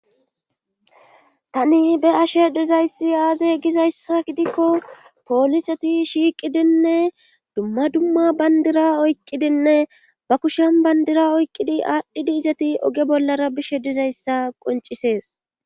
tani be ashe dizayssi aaze gizayssa gidikko pooliseti shiiqidinne dumma dumma bandira oyqqidinne ba kushan bandira oyqqidi aadhdhidi izati oge bollara bishe dizayssa qoncisees